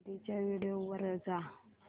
आधीच्या व्हिडिओ वर जा